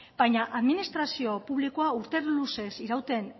baina administrazio publikoa urte luzez irauten